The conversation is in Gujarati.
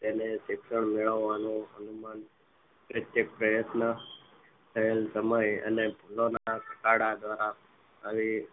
તેને શિક્ષણ મેળવવાનો અનુમાન પ્રયત્કે પ્રયત્ન થયેલ સમય અને ભૂલો ના દ્વારા